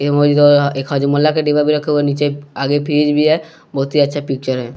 एक हजमुल्ला का डिब्बा भी रखा हुआ है नीचे आगे फ्रीज भी है बहुत ही अच्छा पिक्चर है।